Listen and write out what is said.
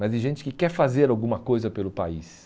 mas de gente que quer fazer alguma coisa pelo país.